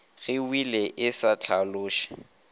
ge wili e sa hlaloše